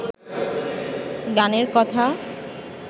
গানের কথা